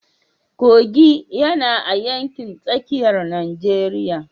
Kogi yana a yankin tsakiyar Najeriya.